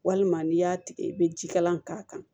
Walima n'i y'a tigɛ i bɛ ji kalan k'a kan